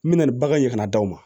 N mɛna ni bagan ye ka na d'aw ma